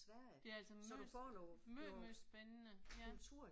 Det er altså meget meget meget spændende ja